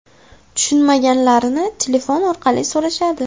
Tushunmaganlarini telefon orqali so‘rashadi.